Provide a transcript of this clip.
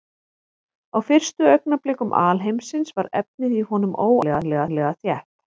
Á fyrstu augnablikum alheimsins var efnið í honum óendanlega þétt.